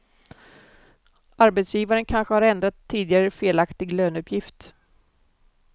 Arbetsgivaren kanske har ändrat tidigare felaktig löneuppgift.